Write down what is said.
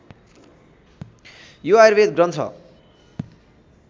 यो आयुर्वेद ग्रन्थ